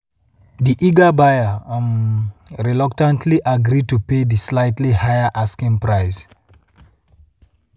di eager buyer um reluctantly agri to pay di slightly higher asking price.